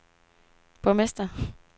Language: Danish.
borgmester